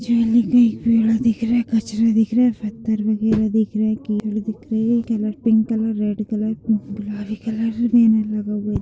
खिड़कियाँ दिख रही है जुली के पेड़ दिख रहे है कचड़े दिख रहे पत्थर वेग्यारह दिख रही कीचड़ दिख रहे है पि--